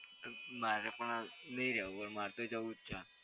મારે પણ નહીં રહેવું. મારે તો જવું જ છે.